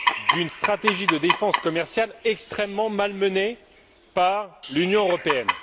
d'une stratégie de défense commerciale extrêmement mal menée par l'Union européenne.